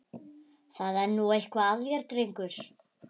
Það er nú eitthvað að þér, drengur!